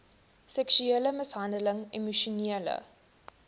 seksuele mishandeling emosionele